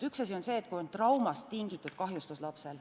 Üks asi on see, kui lapsel on trauma põhjustatud kahjustus.